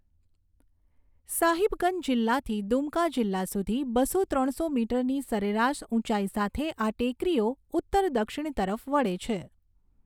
સાહિબગંજ જિલ્લાથી દુમકા જિલ્લા સુધી બસો ત્રણસો મીટરની સરેરાશ ઉંચાઈ સાથે આ ટેકરીઓ ઉત્તર દક્ષિણ તરફ વળે છે.